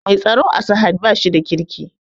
Mai tsaro a sahad bashi da kirki